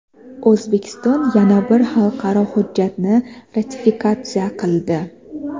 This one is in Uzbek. O‘zbekiston yana bir xalqaro hujjatni ratifikatsiya qildi.